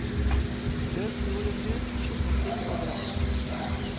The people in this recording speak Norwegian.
Løs jord og grus skitnet til overalt.